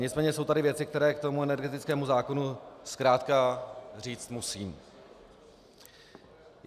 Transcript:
Nicméně jsou tady věci, které k tomu energetickému zákonu zkrátka říct musím.